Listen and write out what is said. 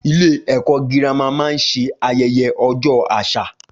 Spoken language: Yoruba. Ilé ẹ̀kọ́ girama máa ń ṣe ayẹyẹ ojo àṣà